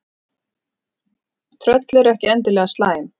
tröll eru ekki endilega slæm